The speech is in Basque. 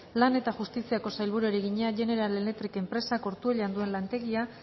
lan eta justiziako sailburuari egina general electric enpresak ortuellan duen lantegia